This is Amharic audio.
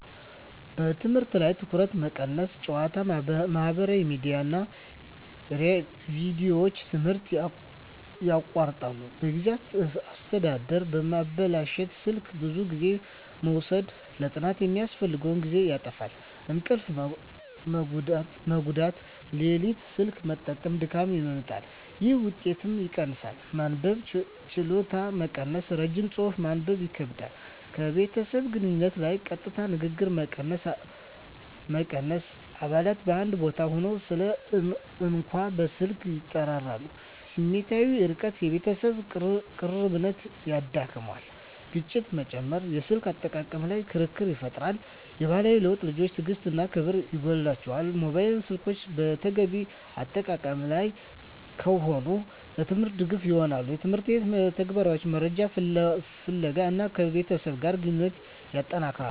በትምህርት ላይ ትኩረት መቀነስ ጨዋታ፣ ማህበራዊ ሚዲያ እና ቪዲዮዎች ትምህርትን ያቋርጣሉ። የጊዜ አስተዳደር መበላሸት ስልክ ብዙ ጊዜ መውሰድ ለጥናት የሚያስፈልገውን ጊዜ ያጣፋፋል። እንቅልፍ መጎዳት ሌሊት ስልክ መጠቀም ድካምን ያመጣል፣ ይህም ውጤትን ይቀንሳል። መንበብ ችሎታ መቀነስ ረጅም ጽሑፍ ማንበብ ይከብዳል። ከቤተሰብ ግንኙነት ላይ ቀጥታ ንግግር መቀነስ አባላት በአንድ ቦታ ሆነው ሳሉ እንኳ በስልክ ይጠራራሉ። ስሜታዊ ርቀት የቤተሰብ ቅርብነት ይዳክመዋል። ግጭት መጨመር የስልክ አጠቃቀም ላይ ክርክር ይፈጠራል። የባህሪ ለውጥ ልጆች ትዕግሥት እና ክብር ይጎላቸዋል። ሞባይል ስልኮች በተገቢ አጠቃቀም ላይ ከሆኑ፣ ለትምህርት ድጋፍ ይሆናሉ (የትምህርት መተግበሪያዎች፣ መረጃ ፍለጋ) እና ከቤተሰብ ጋር ግንኙነትን ያጠነክራል።